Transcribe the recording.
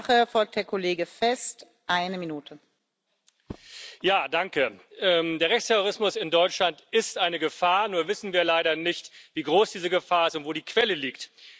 Der Rechtsterrorismus in Deutschland ist eine Gefahr, nur wissen wir leider nicht, wie groß diese Gefahr ist und wo die Quelle liegt.